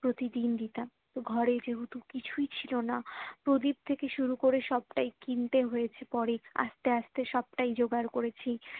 প্রতিদিন দিতাম ঘরে যেহেতু কিছুই ছিলোনা প্রদীপ থেকে শুরু করে সবটাই কিনতে হয়েছে পরে আস্তে আস্তে সবটাই জোগাড় করেছি